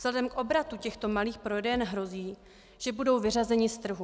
Vzhledem k obratu těchto malých prodejen hrozí, že budou vyřazeny z trhu.